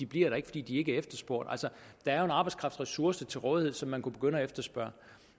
bliver der fordi de ikke er efterspurgte altså der er jo en arbejdskraftressource til rådighed som man kunne begynde at efterspørge